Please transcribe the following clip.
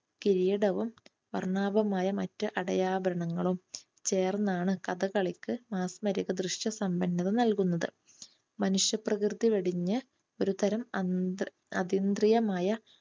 കിരീടവും വർണ്ണാഭമായ മറ്റു അടയാഭരണങ്ങളും ചേർന്നാണ് കഥകളിക്ക് മാസ്മരിക ദൃശ്യ സമ്പന്നത നൽകുന്നത്. മനുഷ്യ പ്രകൃതി വെടിഞ്ഞു ഒരുതരം അതീന്ദ്രിയമായ